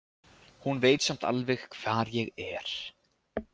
Hún veit samt alveg hvar ég er.